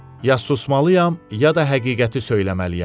Ya susmalıyam, ya da həqiqəti söyləməliyəm.